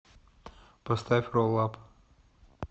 поставь ролл ап